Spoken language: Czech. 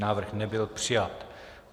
Návrh nebyl přijat.